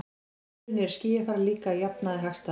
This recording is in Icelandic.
Á sumrin er skýjafar líka að jafnaði hagstæðast.